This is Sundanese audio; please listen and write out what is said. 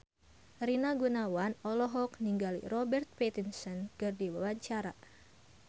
Rina Gunawan olohok ningali Robert Pattinson keur diwawancara